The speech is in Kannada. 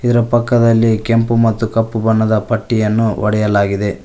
ಪಕ್ಕದಲ್ಲಿ ಕೆಂಪು ಮತ್ತು ಕಪ್ಪು ಬಣ್ಣದ ಪಟ್ಟಿಯನ್ನು ಹೊಡೆಯಲಾಗಿದೆ.